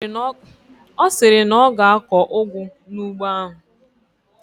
Ọ sịrị na ọ ga-akọ ụgụ n'ugbo ahụ.